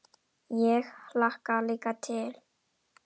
Ég hlakka líka til.